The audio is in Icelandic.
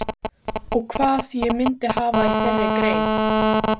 Og hvað ég myndi hafa í þeirri grein?